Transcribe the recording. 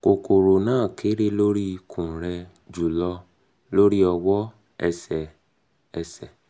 kokoro na kere lori ikun re julo lori owo ati ese ese